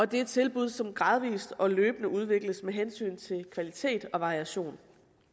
det er tilbud som gradvis og løbende udvikles med hensyn til kvalitet og variation